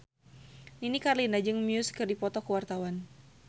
Nini Carlina jeung Muse keur dipoto ku wartawan